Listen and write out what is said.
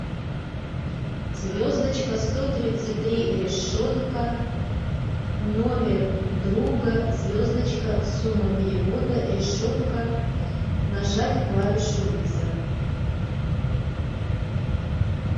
звездочка сто тридцать три решетка номер друга звездочка сумма перевода решетка нажать клавишу вызов